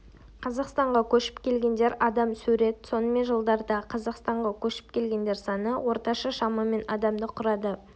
қазақстанға көшіп келгендер адам сурет сонымен жылдардағы қазақстанға көшіп келгендер саны орташа шамамен адамды құрады